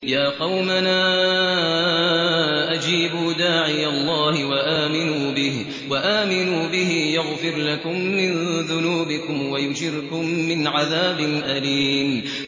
يَا قَوْمَنَا أَجِيبُوا دَاعِيَ اللَّهِ وَآمِنُوا بِهِ يَغْفِرْ لَكُم مِّن ذُنُوبِكُمْ وَيُجِرْكُم مِّنْ عَذَابٍ أَلِيمٍ